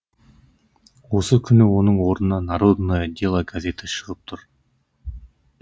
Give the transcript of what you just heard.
осы күні оның орнына народное дело газеті шығып тұр